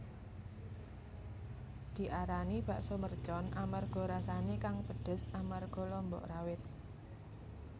Diarani bakso mercon amarga rasané kang pedes amarga lombok rawit